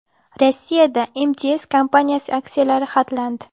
Rossiyada MTS kompaniyasi aksiyalari xatlandi.